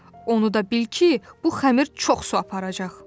Onu da bil ki, bu xəmir çox su aparacaq.